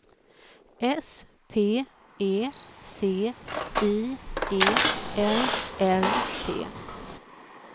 S P E C I E L L T